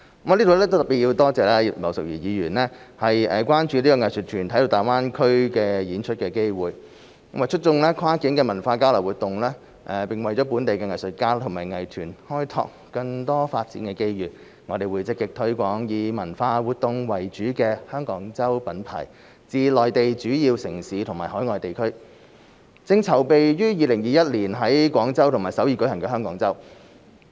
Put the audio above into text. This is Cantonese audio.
在此我要特別多謝葉劉淑儀議員關注藝術團體在大灣區演出的機會，為促進跨境文化交流活動，並為本地藝術家及藝團開拓更多發展的機遇，我們會積極推廣以文化活動為主的"香港周"品牌至內地主要城市和海外地區，正籌備於2021年在廣州和首爾舉行的"香港周"。